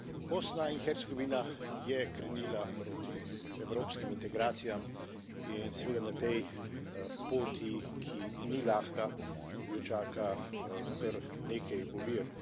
Bosna in Hercegovina je krenila proti evropskim integracijam in seveda na tej poti, ki ni lahka, jo čaka kar nekaj ovir.